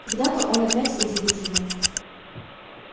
когда-то он опять удивит его